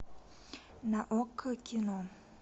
на окко кино